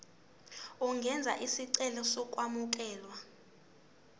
ungenza isicelo sokwamukelwa